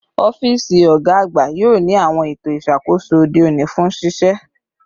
Ọfiisi ọga agba yoo ni awọn eto iṣakoso ode oni fun ṣiṣe